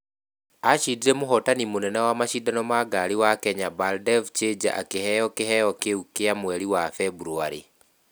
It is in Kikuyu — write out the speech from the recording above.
Acindire mũhootani mũnene wa macindano ma ngari wa kenya Baldev Chager akĩheo kĩheo kĩu kĩa mweri wa beburwarĩ